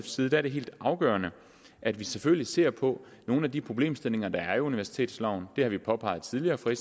side er det helt afgørende at vi selvfølgelig ser på nogle af de problemstillinger der er i universitetsloven det har vi påpeget tidligere fra